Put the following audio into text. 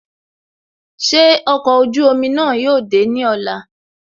Ṣé ọkọ̀ ojú omi náà yóò dé ní ọ̀la